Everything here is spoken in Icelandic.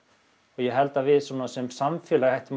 ég held að við sem samfélag ættum